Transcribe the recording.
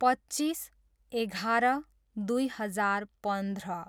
पच्चिस, एघार, दुई हजार पन्ध्र